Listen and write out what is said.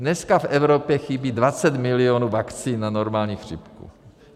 Dneska v Evropě chybí 20 milionů vakcín na normální chřipku.